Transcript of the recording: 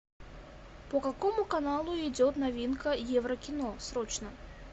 по какому каналу идет новинка еврокино срочно